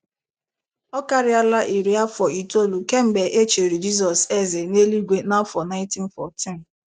Ọ karịala iri afọ itoolu kemgbe e chiri Jizọs eze n’eluigwe na afọ 1914.